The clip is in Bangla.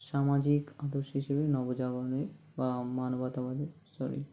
সামাজিক আদর্শ হিসাবে নবজাগরণের আ মানবতাবাদের sorry